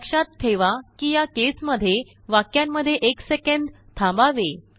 लक्षात ठेवा कि याकेस मध्येवाक्यांमध्येएक सेकंद थांबावे